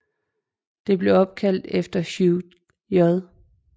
Det blev opkaldt efter Hugh J